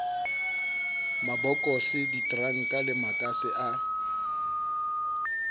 mabokose diteranka le makase a